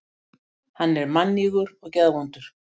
Hann er mannýgur og geðvondur.